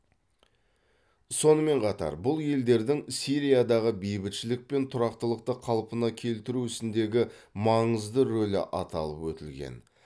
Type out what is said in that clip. сонымен қатар бұл елдердің сириядағы бейбітшілік пен тұрақтылықты қалпына келтіру ісіндегі маңызды рөлі аталып өтілген